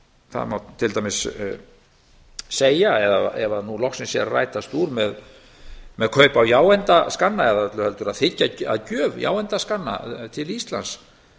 það má til dæmis segja eða ef loksins er að rætast úr með kaup á jáeindaskanna eða öllu heldur að þiggja að gjöf jáeindaskanna til íslands